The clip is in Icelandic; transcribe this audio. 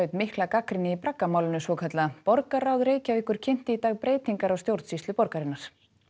mikla gagnrýni í svokallaða borgarráð Reykjavíkur kynnti í dag breytingar á stjórnsýslu borgarinnar